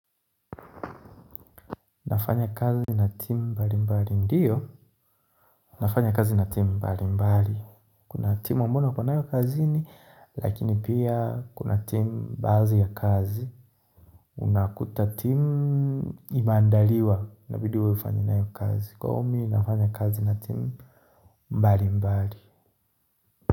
Nafanya kazi na timu mbali mbali ndiyo nafanya kazi na timu mbali mbali kuna timu ambayo niko nao kazini lakini pia kuna timu baadhi ya kazi unakuta timu imeandaliwa inabidi wewe ufanye nao kazi kwa hivyo mimi nafanya kazi na timu mbali mbali.